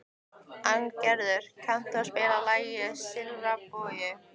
Arngerður, kanntu að spila lagið „Silfraður bogi“?